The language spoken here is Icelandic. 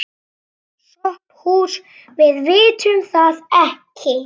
SOPHUS: Við vitum það ekki.